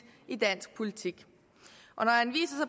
i dansk politik